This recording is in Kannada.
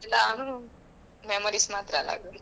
memories ಮಾತ್ರ ಅಲಾ.